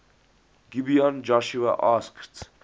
gibeon joshua asked